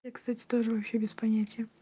я кстати тоже вообще без понятия